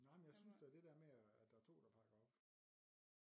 Nej men jeg synes at det dér med at at der er 2 der pakker op